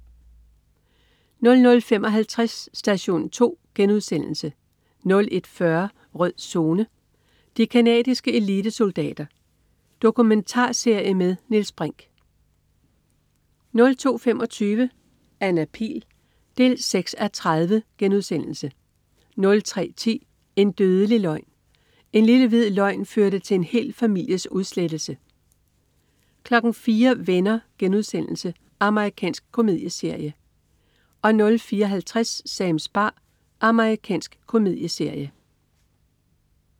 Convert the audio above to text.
00.55 Station 2* 01.40 Rød Zone: De canadiske elitesoldater. Dokumentarserie med Niels Brinch 02.25 Anna Pihl 6:30* 03.10 En dødelig løgn. En lille, hvid løgn førte til en hel families udslettelse 04.00 Venner.* Amerikansk komedieserie 04.50 Sams bar. Amerikansk komedieserie